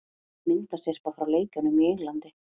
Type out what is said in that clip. Myndasyrpa frá leikjunum í Englandi